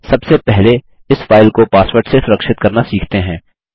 सबसे पहले इस फाइल को पासवर्ड से सुरक्षित करना सीखते हैं